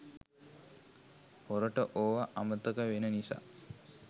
පොරට ඕවා අමතක වෙන නිසා